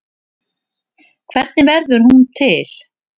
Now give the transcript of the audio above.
Hvernig verður hún til?